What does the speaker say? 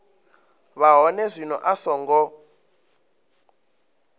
vha hone zwino a songo